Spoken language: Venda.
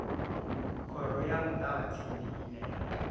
khoro ya muṱavhatsindi ine ya